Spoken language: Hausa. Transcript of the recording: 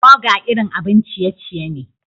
Burger irin abin ciye-ciye ne.